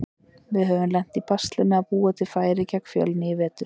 Við höfum lent í basli með að búa til færi gegn Fjölni í vetur.